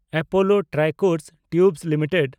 Apollo Tricoat Tubes limited